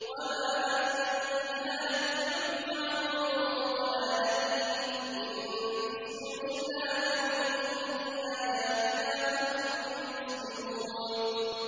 وَمَا أَنتَ بِهَادِي الْعُمْيِ عَن ضَلَالَتِهِمْ ۖ إِن تُسْمِعُ إِلَّا مَن يُؤْمِنُ بِآيَاتِنَا فَهُم مُّسْلِمُونَ